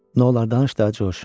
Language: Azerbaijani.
Nolar danış da, Corc.